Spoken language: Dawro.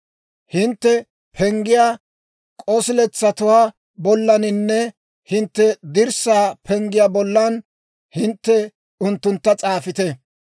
Hintte penggiyaa k'osiletsatuwaa bollaninne hintte dirssaa penggiyaa bollan hintte unttuntta s'aafite.